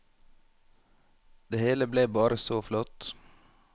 Det hele ble bare så flott.